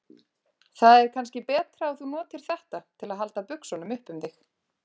Það er kannski betra að þú notir þetta til að halda buxunum upp um þig.